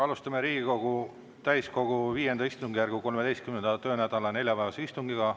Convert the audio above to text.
Alustame Riigikogu täiskogu V istungjärgu 13. töönädala neljapäevase istungiga.